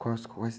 Quais, quais?